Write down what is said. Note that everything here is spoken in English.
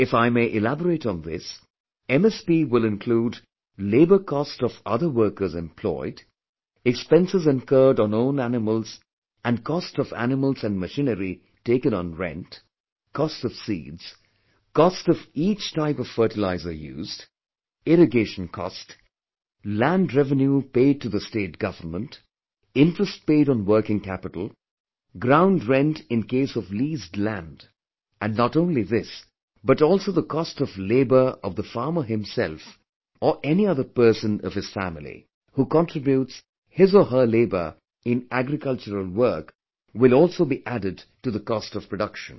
If I may elaborate on this, MSP will include labour cost of other workers employed, expenses incurred on own animals and cost of animals and machinery taken on rent, cost of seeds, cost of each type of fertilizer used, irrigation cost, land revenue paid to the State Government, interest paid on working capital, ground rent in case of leased land and not only this but also the cost of labour of the farmer himself or any other person of his family who contributes his or her labour in agricultural work will also be added to the cost of production